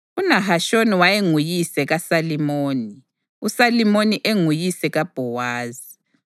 UNahashoni wayenguyise kaSalimoni, uSalimoni enguyise kaBhowazi.